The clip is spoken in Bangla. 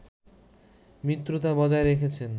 মিত্রতা বজায় রেখেছে